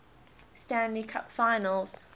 stanley cup finals